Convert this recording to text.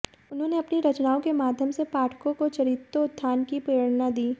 उन्होंने अपनी रचनाओं के माध्यम से पाठकों को चरित्रोत्थान की प्रेरणा दी